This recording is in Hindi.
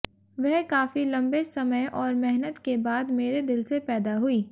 वह काफी लम्बे समय और मेहनत के बाद मेरे दिल से पैदा हुई